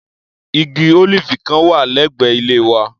Igi ólíífì kan wà lẹ́gbẹ̀ẹ́ ilé wa.